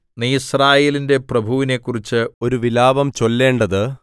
നീ യിസ്രായേലിന്റെ പ്രഭുവിനെക്കുറിച്ച് ഒരു വിലാപം ചൊല്ലേണ്ടത്